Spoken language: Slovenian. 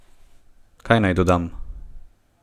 Kaj naj dodam?